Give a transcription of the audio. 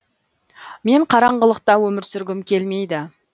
мен қараңғылықта өмір сүргім келмейді